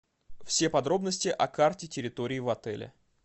все подробности о карте территории в отеле